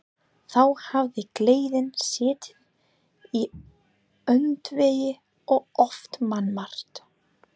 Þá hafði gleðin setið í öndvegi og oft mannmargt.